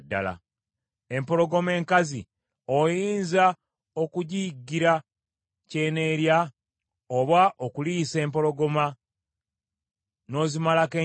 “Empologoma enkazi, oyinza okugiyiggira ky’eneerya, oba okuliisa empologoma n’ozimalako enjala,